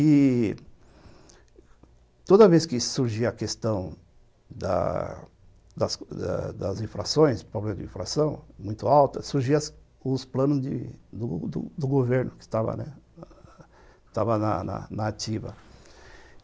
E toda vez que surgia a questão da da das infrações, problemas de infração muito altos, surgiam os planos do do governo que estavam na ativa.